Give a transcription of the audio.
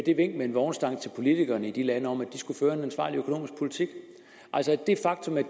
et vink med en vognstang til politikerne i de lande om at de skulle føre en ansvarlig økonomisk politik det faktum at